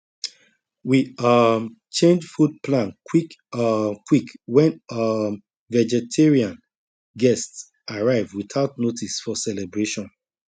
we um change food plan quick um quick when um vegetarian guest arrive without notice for celebration